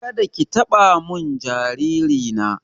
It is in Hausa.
Kada ki taɓa mun jariri na!